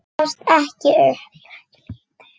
Ég gefst ekki upp.